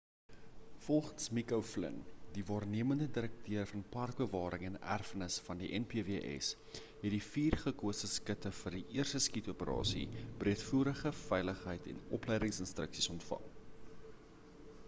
volgens mick o'flynn die waarnemende direkteur van parkbewaring en erfenis van die npws het die vier gekose skutte vir die eerste skiet-operasie breedvoerige veiligheid en opleidings-instruksies ontvang